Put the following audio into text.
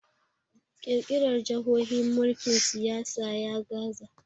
kirkirar jahohi mulkin siyasa ya gaza